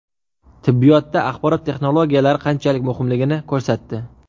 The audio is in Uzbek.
Tibbiyotda axborot texnologiyalari qanchalik muhimligini ko‘rsatdi.